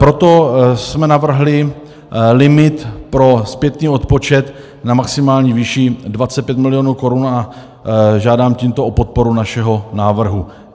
Proto jsme navrhli limit pro zpětný odpočet v maximální výši 25 milionů korun a žádám tímto o podporu našeho návrhu.